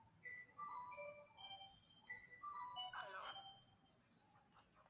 Hello